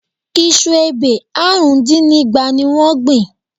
Iṣu ebè àrùn dín ní igba ni wọ́n gbìn?